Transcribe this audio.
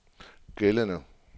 gældende